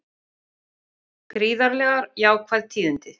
Gríðarlega jákvæð tíðindi